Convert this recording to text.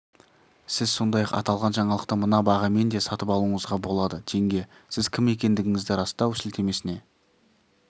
сіз сондай-ақ аталған жаңалықты мына бағамен де сатып алуыңызға болады теңге сіз кім екендігіңізді растау сілтемесіне